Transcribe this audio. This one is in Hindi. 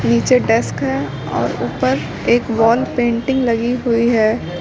नीचे डेस्क है और ऊपर एक वॉल पेंटिंग लगी हुई है।